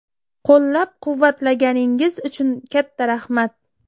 Qo‘llab-quvvatlaganingiz uchun katta rahmat.